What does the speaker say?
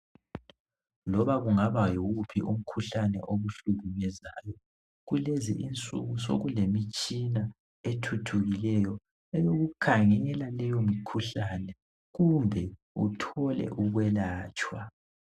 Loba kungaba yiwuphi umkhuhlane okuhlukumezayo kulezinsuku sokulemitshina ethuthukileyo eyokukhangela leyo mikhuhlane kumbe uthole ukwelatshwa.